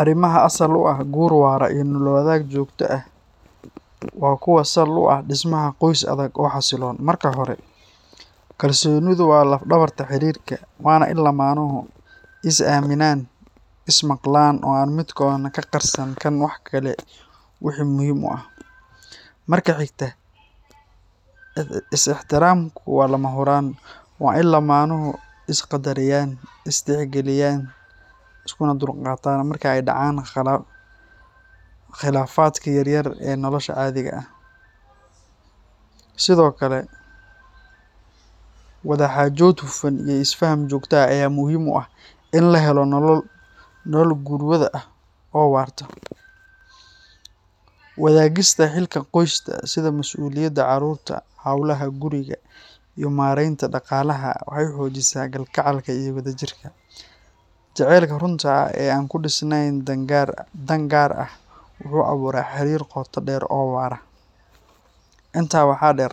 Arrimaha asal u ah gur wara iyo nolol-wadaag joogto ah waa kuwo sal u ah dhismaha qoys adag oo xasilloon. Marka hore, kalsoonidu waa laf-dhabarta xiriirka, waana in lamaanuhu is aaminaan, is maqlaan, oo aan midkoodna ka qarsan kan kale wixii muhiim ah. Marka xigta, is-ixtiraamku waa lama huraan; waa in lamaanuhu is qadariyaan, is tixgeliyaan, iskuna dulqaataan marka ay dhacaan khilaafaadka yaryar ee nolosha caadiga ah. Sidoo kale, wada-xaajood hufan iyo isfaham joogto ah ayaa muhiim u ah in la helo nolol gurwada ah oo waarta. Wadaagista xilka qoyska, sida mas’uuliyadaha carruurta, hawlaha guriga, iyo maaraynta dhaqaalaha, waxay xoojisaa kalgacalka iyo wadajirka. Jaceylka runta ah ee aan ku dhisnayn dan gaar ah wuxuu abuuraa xiriir qoto dheer oo waara. Intaa waxaa dheer,